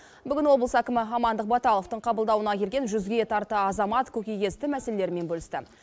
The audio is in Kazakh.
бүгін облыс әкімі амандық баталовтың қабылдауына келген жүзге тарта азамат көкейкесті мәселелерімен бөлісті